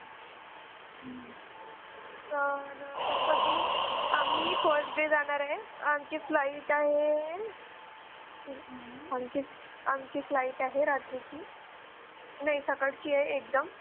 तर कस कि आम्ही First day जाणार आहे. आमची Flight आहे आमची Flight आहे रात्रीची नाही सकाळची आहे एकदम.